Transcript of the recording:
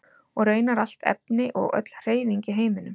og raunar allt efni og öll hreyfing í heiminum